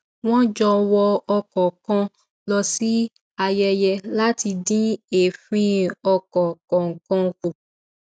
wọn jọ wọ ọkọ kan lọ sí ayẹyẹ láti dín èéfín ọkọ kọọkan kù